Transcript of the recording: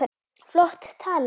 Flott tala.